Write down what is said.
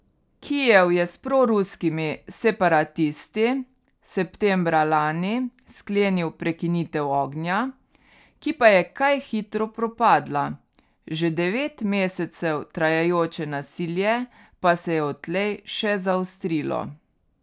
Kijev je s proruskimi separatisti septembra lani sklenil prekinitev ognja, ki pa je kaj hitro propadla, že devet mesecev trajajoče nasilje pa se je odtlej še zaostrilo.